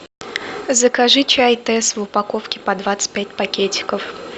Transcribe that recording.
закажи чай тесс в упаковке по двадцать пять пакетиков